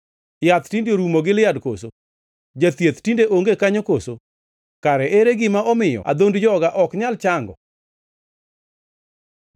Yath tinde orumo Gilead koso? Jathieth tinde onge kanyo koso? Kare ere gima omiyo adhond joga ok nyal chango?